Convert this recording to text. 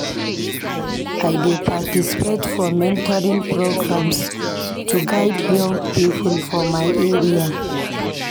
I dey participate for mentoring programs to guide young people for my area.